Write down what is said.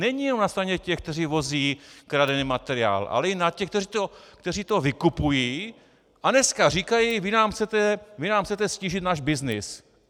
Není jenom na straně těch, kteří vozí kradený materiál, ale i na těch, kteří to vykupují a dneska říkají: vy nám chcete ztížit náš byznys.